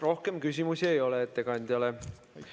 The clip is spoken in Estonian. Rohkem küsimusi ei ole ettekandjale.